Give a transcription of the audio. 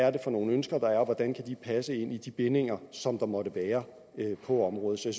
er for nogle ønsker der er og hvordan de kan passe ind i de bindinger som der måtte være på området så